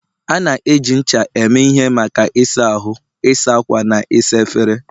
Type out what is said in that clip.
A na-eji ncha eme ihe maka ịsa ahụ, ịsa ákwà, na ịsa efere.